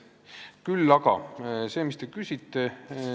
Nüüd aga vastus sellele, mis te küsisite.